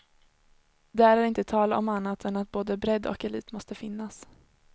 Där är det inte tal om annat än att både bredd och elit måste finnas.